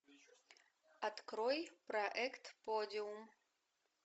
открой проект подиум